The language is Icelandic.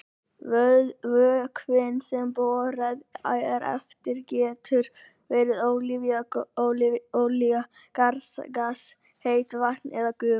Vökvinn sem borað er eftir getur verið olía, jarðgas, heitt vatn eða gufa.